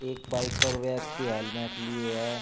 एक बाइक पर व्यक्ति हेलमेट लिए है।